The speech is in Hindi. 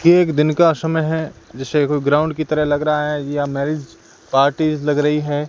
ये एक दिन का समय है जैसे कोई ग्राउंड की तरह लग रहा है या मैरिज पार्टी लग रही है।